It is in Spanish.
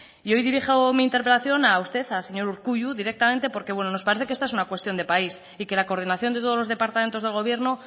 hoy dirijo mi intervención a usted al señor urkullu directamente porque nos parece que esto es una cuestión de país y que la coordinación de todos los departamentos del gobierno